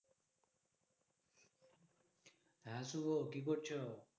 হ্যাঁ শুভ কি করছো?